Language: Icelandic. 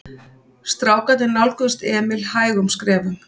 Strákarnir nálguðust Emil hægum skrefum.